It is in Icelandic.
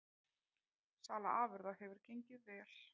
Sala afurða hefur gengið vel